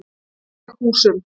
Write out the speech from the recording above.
Veghúsum